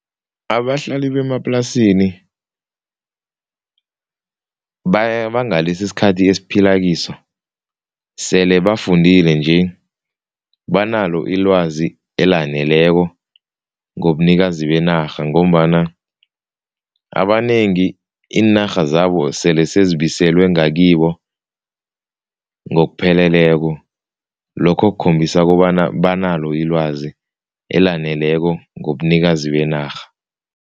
Abahlali bemaplasini bangalesi isikhathi esiphila kiso sele bafundile nje, banalo ilwazi elaneleko ngobunikazi benarha ngombana abanengi iinarha zabo sele sezibiselwe ngakibo ngokupheleleko. Lokho kukhombisa kobana banalo ilwazi elaneleko ngobunikazi benarha.